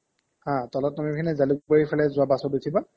আহ্, তলত নামি পিনে জালোকবাৰিৰ ফালে যোৱা bus ত উঠিবা